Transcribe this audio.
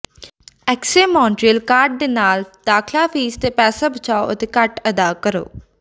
ਐਕਸੇ Montreal card ਦੇ ਨਾਲ ਦਾਖਲਾ ਫੀਸ ਤੇ ਪੈਸਾ ਬਚਾਓ ਅਤੇ ਘੱਟ ਅਦਾ ਕਰੋ